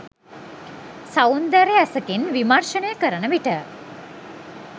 සෞන්දර්ය ඇසකින් විමර්ශනය කරන විට